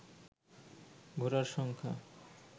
voter সংখ্যা